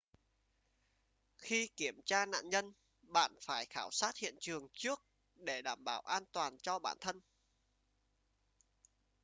khi kiểm tra nạn nhân bạn phải khảo sát hiện trường trước để bảo đảm an toàn cho bản thân